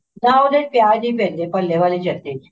ਨਾ ਉਹਦੇ ਚ ਪਿਆਜ ਨੀ ਪੈਂਦੇ ਭੱਲੇ ਵਾਲੀ ਚਟਨੀ ਚ